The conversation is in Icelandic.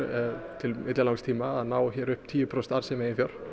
til langs tíma að ná upp tíu prósent arðsemi